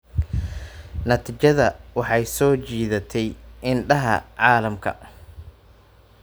Natiijadu waxay soo jiidatay indhaha caalamka.